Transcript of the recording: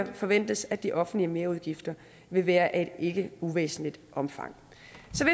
forventes at de offentlige merudgifter vil være af et ikke uvæsentligt omfang